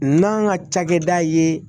N'an ka cakɛda ye